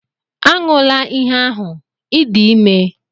Aṅụla ihe ahụ!, ị dị ime